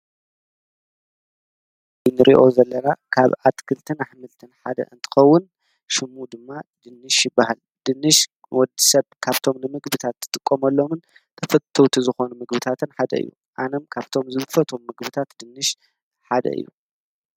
ኢንርዮ ዘለራ ካብ ኣትክልትን ኣኅምልትን ሓደ እንትኸውን ሽሙ ድማ ድንሽ በሃል ድንሽ ወዲ ሰብ ካብቶም ንምግብታት ክጥቆመሎምን ተፍተውቲ ዝኾኑ ምግብታትን ሓደ ዮ ኣነም ካብቶም ዝብፈቶም ምግብታት ድንሽ ሓደ እዩ።